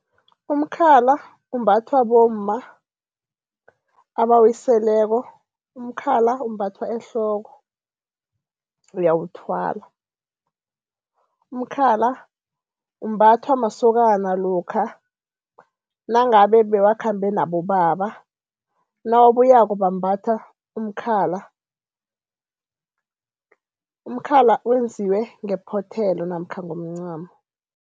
Umkhala umbathwa bomma abawiseleko. Umkhala umbathwa ehloko, uyawuthwala. Umkhala umbathwa masokana lokha nangabe bebakhambe nabobaba, nawabuyako bambatha umkhala. Umkhala wenziwe ngephothelo namkha ngomncamo.